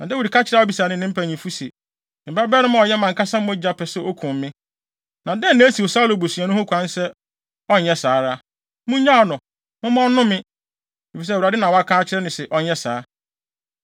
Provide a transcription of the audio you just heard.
Na Dawid ka kyerɛɛ Abisai ne ne mpanyimfo se, “Me babarima a ɔyɛ mʼankasa mogya pɛ sɛ okum me. Na dɛn na esiw Saulo busuani ho kwan sɛ ɔnyɛ saa ara. Munnyaa no, momma ɔnnome, efisɛ Awurade na waka akyerɛ no se ɔnyɛ saa.